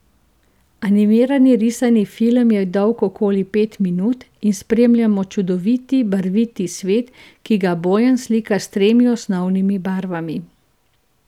Animirani risani film je dolg okoli pet minut in spremljamo čudoviti barviti svet, ki ga Bojan slika s tremi osnovnimi barvami.